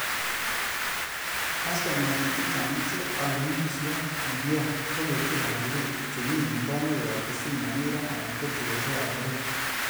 Kastomaekchik chechang che ole indisiot nekiyoe, ko getik ab pikipiki chebi en bonwek koyob kisii, Nyamira alan ko tugosiekab Kericho.